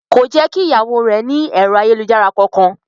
Kò jẹ́ kí ìyàwó rẹ̀ ní ẹ̀rọ ayélujára kankan.